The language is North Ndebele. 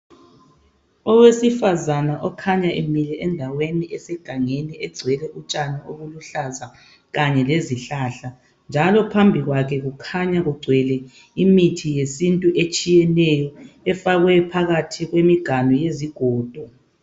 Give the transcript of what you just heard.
Owesifazana okhanya Emile endaweni esegangeni begcwele utshani obuluhlaza Kanye lezihlahla njalo phambi kwakhe kukhanya kugcwele imithi yesintu etshiyeneyo efakwe phakathi kwemiganu yezigodo